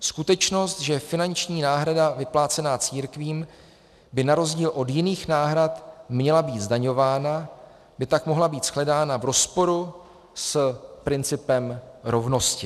Skutečnost, že finanční náhrada vyplácená církvím by na rozdíl od jiných náhrad měla být zdaňována, by tak mohla být shledána v rozporu s principem rovnosti.